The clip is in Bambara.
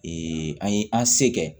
an ye an se kɛ